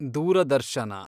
ದೂರದರ್ಶನ